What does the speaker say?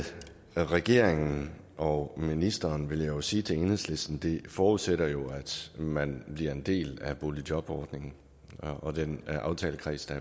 regeringen og ministeren vil jeg sige til enhedslisten at det jo forudsætter at man bliver en del af boligjobordningen og den aftalekreds der